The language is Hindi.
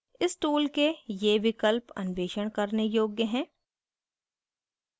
इस tool के ये विकल्प अन्वेषण करने योग्य है